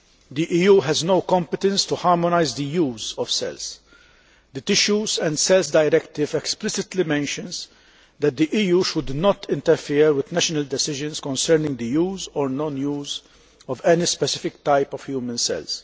The EU has no competence to harmonise the use of cells. The Tissues and Cells Directive explicitly mentions that the EU should not interfere with national decisions concerning the use or non use of any specific type of human cells.